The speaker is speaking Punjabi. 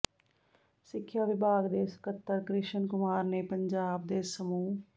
ਸਿੱਖਿਆ ਵਿਭਾਗ ਦੇ ਸਕੱਤਰ ਕਿ੍ਸ਼ਨ ਕੁਮਾਰ ਨੇ ਪੰਜਾਬ ਦੇ ਸਮੂਹ